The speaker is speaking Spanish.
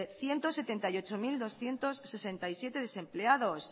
ciento setenta y ocho mil doscientos sesenta y siete desempleados